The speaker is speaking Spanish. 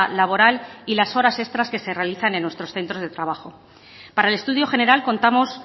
laboral y las horas extras que se realizan en nuestros centros de trabajo para el estudio general contamos